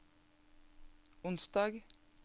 onsdag